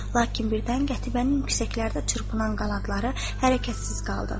Lakin birdən Qətibənin yüksəklərdə çırpınan qanadları hərəkətsiz qaldı.